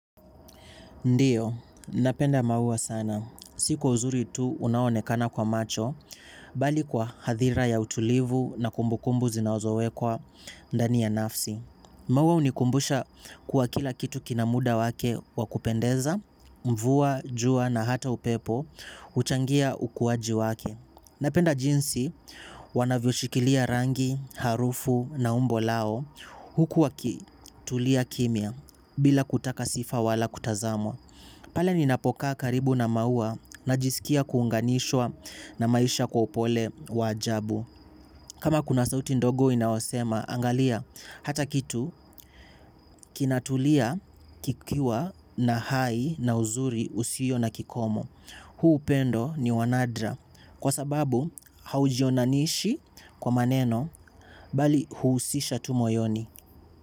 Ndiyo, napenda maua sana. Sikwa uzuri tu unaonekana kwa macho, bali kwa hadhira ya utulivu na kumbukumbu zinazowe kwa ndani ya nafsi. Maua hunikumbusha kwa kila kitu kinamuda wake wakupendeza, mvua, jua na hata upepo, huchangia ukuwaji wake. Napenda jinsi wanavyo shikilia rangi, harufu na umbo lao hukuwa kitulia kimia bila kutaka sifa wala kutazamwa. Pale ni napokaa karibu na maua na jisikia kuunganishwa na maisha kwa upole wajabu. Kama kuna sauti ndogo inayosema, angalia hata kitu kinatulia kikiwa na hai na uzuri usio na kikomo. Huu upendo ni wanadra kwa sababu haujionanishi kwa maneno bali huhusisha tumoyoni.